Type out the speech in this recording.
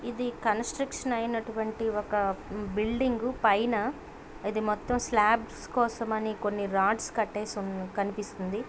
ఇది కన్స్ట్రక్షన్ అయినటువంటి ఒక బిల్డింగు పైన ఇది మొత్తం స్లాబ్స్ కోసమని కొన్ని రాడ్స్ కట్టేసి కనిపిస్తుంది.